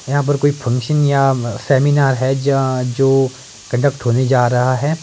यहां पर कोई फंक्शन या सेमिनार है ज जो कंडक्ट होने जा रहा है ।